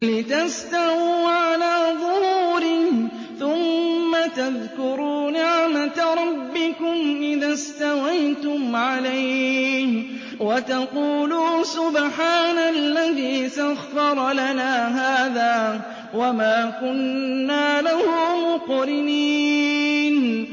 لِتَسْتَوُوا عَلَىٰ ظُهُورِهِ ثُمَّ تَذْكُرُوا نِعْمَةَ رَبِّكُمْ إِذَا اسْتَوَيْتُمْ عَلَيْهِ وَتَقُولُوا سُبْحَانَ الَّذِي سَخَّرَ لَنَا هَٰذَا وَمَا كُنَّا لَهُ مُقْرِنِينَ